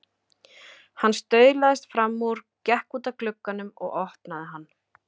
Hann staulaðist fram úr, gekk út að glugganum og opnaði hann.